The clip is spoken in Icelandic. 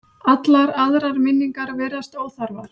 Allar aðrar minningar virðast óþarfar.